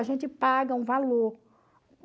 A gente paga um valor.